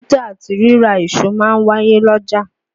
Títà àti rírà èso ma ń wáyé l'ọ́jà.